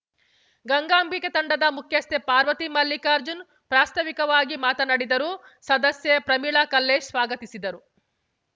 ಗಂಗಾಂಬಿಕೆ ತಂಡದ ಮುಖ್ಯಸ್ಥೆ ಪಾರ್ವತಿ ಮಲ್ಲಿಕಾರ್ಜುನ್‌ ಪ್ರಾಸ್ತಾವಿಕವಾಗಿ ಮಾತನಾಡಿದರು ಸದಸ್ಯ ಪ್ರಮೀಳಾ ಕಲ್ಲೇಶ್‌ ಸ್ವಾಗತಿಸಿದರು